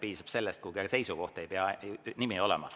Piisab sellest, kui on seisukoht, ei pea nimi olema.